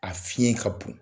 A fiɲɛ ka bon.